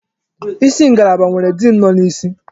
Isi ngalaba nwere diin nọ n'isi.